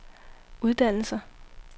uddannelser